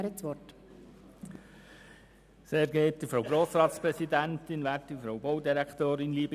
Das Wort erhält Grossrat Frutiger für die Kommission.